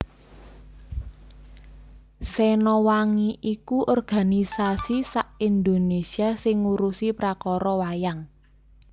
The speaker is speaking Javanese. Sena Wangi iku organisasi sa Indonesia sing ngurusi prakara wayang